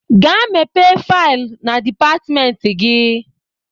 Gaa mepe faịl na dịpartmenti gi!